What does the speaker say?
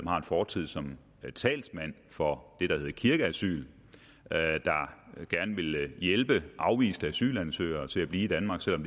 har en fortid som talsmand for det der hed kirkeasyl som gerne ville hjælpe afviste asylansøgere til at blive i danmark selv om